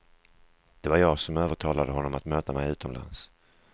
Det var jag som övertalade honom att möta mig utomlands.